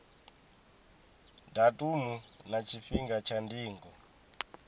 datumu na tshifhinga tsha ndingo